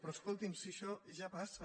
però escolti si això ja passa